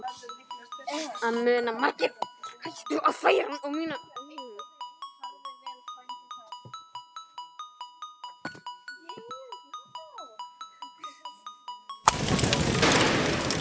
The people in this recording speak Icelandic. Þetta muna margir.